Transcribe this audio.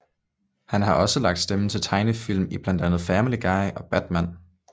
Han har også lagt stemme til tegnefilm i blandt andet Family Guy og Batman